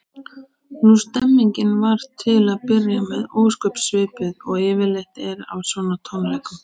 Nú, stemmningin var til að byrja með ósköp svipuð og yfirleitt er á svona tónleikum.